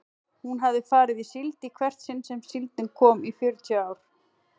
Hún hafði farið í síld í hvert sinn sem síldin kom í fjörutíu ár.